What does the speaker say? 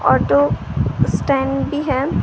Auto stand भी है ।